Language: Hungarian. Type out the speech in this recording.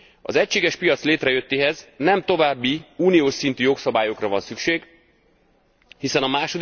Az egységes piac létrejöttéhez nem további uniós szintű jogszabályokra van szükség, hiszen a